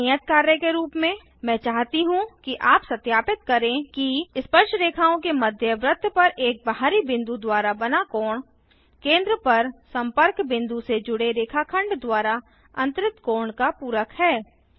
एक नियत कार्य के रूप में मैं चाहती हूँ कि आप सत्यापित करें कि स्पर्शरेखाओं के मध्य वृत्त पर एक बाहरी बिंदु द्वारा बना कोण केंद्र पर संपर्क विंदु से जुड़े रेखाखंड द्वारा अंतरित कोण का पूरक है